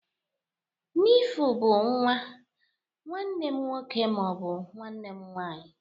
Nefiu bụ nwa, nwanne m nwọke ma ọ bu nwanne m nwanyị